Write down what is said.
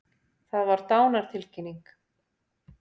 Það var dánartilkynning.